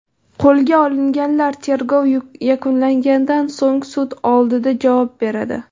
Qo‘lga olinganlar tergov yakunlangandan so‘ng sud oldida javob beradi.